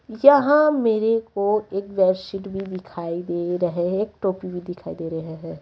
यहां मेरे को एक बेडशीट भी दिखाई दे रहे हैं एक टोपी भी दिखाई दे रहे है।